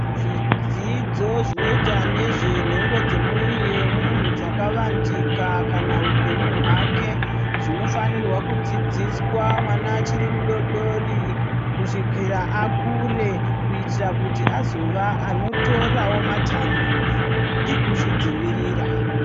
Zvidzidzo zvinoita nezvenhengo dzemuviri wemunthu dzakavandika kana upenyu hwake zvinofanira kudzidziswa mwana achiri mudodori kusvikira akure kuitira kuti azova anotorawo matanho ekuzvidzivirira.